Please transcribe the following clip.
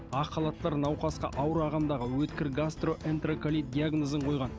ақ халаттар науқасқа ауыр ағымдағы өткір гастроэнтероколит диагнозын қойған